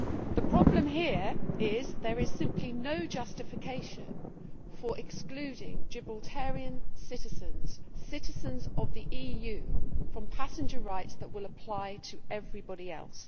The problem here is there is simply no justification for excluding Gibraltarian citizens, citizens of the EU, from passenger rights that will apply to everybody else.